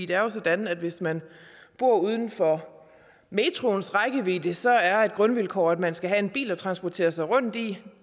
det er jo sådan at hvis man bor uden for metroens rækkevidde så er det et grundvilkår at man skal have en bil at transportere sig rundt i